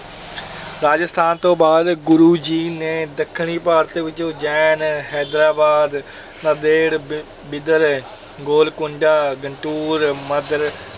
ਰਾਜਸਥਾਨ ਤੋਂ ਬਾਅਦ ਗੁਰੂ ਜੀ ਨੇ ਦੱਖਣੀ ਭਾਰਤ ਵਿੱਚ ਉਜੈਨ, ਹੈਦਰਾਬਾਦ, ਨਾਂਦੇੜ, ਬਿ~ ਬਿਦਰ, ਗੋਲਕੁੰਡਾ, ਗੰਟੂਰ, ਮਦਰ~